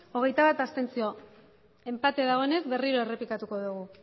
hogeita bat enpate dagoenez berriro errepikatuko dugu